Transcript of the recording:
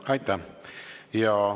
Aitäh!